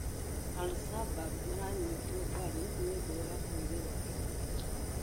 Al-shabab maranyĩtwo mbarũ nĩũndũ wa kwĩrĩra andũ ũgĩtĩrĩ